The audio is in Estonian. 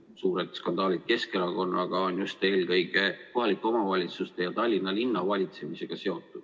Suured skandaalid Keskerakonnaga on seotud eelkõige kohalike omavalitsustega, eriti Tallinna linna valitsemisega.